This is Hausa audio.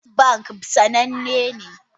Zeneth banki sananne ne.